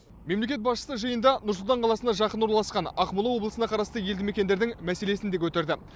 мемлекет басшысы жиында нұр сұлтан қаласына жақын орналасқан ақмола облысына қарасты елді мекендердің мәселесін де көтерді